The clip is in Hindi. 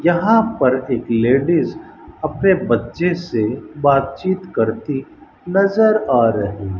यहां पर एक लेडिज अपने बच्चे से बातचीत करती नजर आ रही --